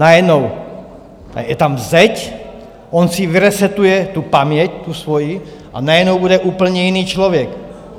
Najednou je tam zeď, on si vyresetuje tu paměť, tu svoji, a najednou bude úplně jiný člověk?